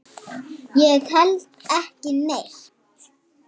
Ég held ekki neitt.